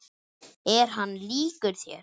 Er hann líkur þér?